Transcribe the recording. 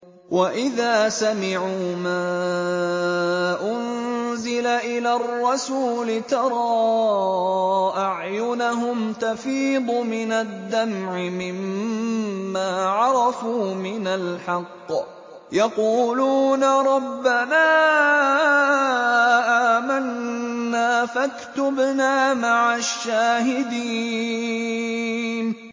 وَإِذَا سَمِعُوا مَا أُنزِلَ إِلَى الرَّسُولِ تَرَىٰ أَعْيُنَهُمْ تَفِيضُ مِنَ الدَّمْعِ مِمَّا عَرَفُوا مِنَ الْحَقِّ ۖ يَقُولُونَ رَبَّنَا آمَنَّا فَاكْتُبْنَا مَعَ الشَّاهِدِينَ